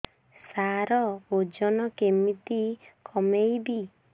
ସାର ଓଜନ କେମିତି କମେଇବି